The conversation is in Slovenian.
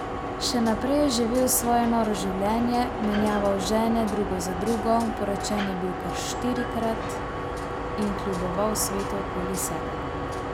Še naprej je živel svoje noro življenje, menjaval žene drugo za drugo, poročen je bil kar štirikrat, in kljuboval svetu okoli sebe.